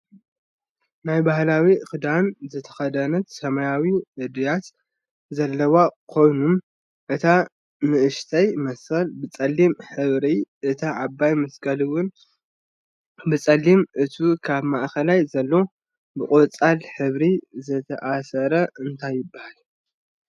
ናይ ባህላወ ክዳን ዝተከደነት ሰማያዊ እድያት ለዘዎ ኮይኑ እታ ንእሽተይ መስቀል ብፀሊም ሕብሪ እታ ዓባይ መስቀል ዝውን ብፀሊምን እቱ ኣብ ማእከል ዘሎ ብቆፃል ሕብር ዝተኣሰረ እንታይ ይብሃል?